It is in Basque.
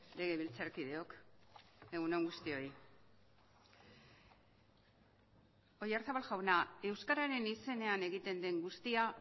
legebiltzarkideok egun on guztioi oyarzabal jauna euskararen izenean egiten den guztia